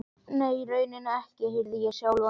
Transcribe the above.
Nei, í rauninni ekki, heyrði ég sjálfan mig segja.